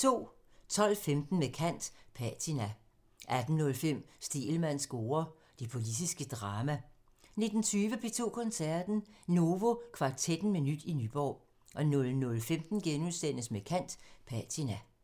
12:15: Med kant – Patina 18:05: Stegelmanns score: Det politiske drama 19:20: P2 Koncerten – Novo Kvartetten med nyt i Nyborg 00:15: Med kant – Patina *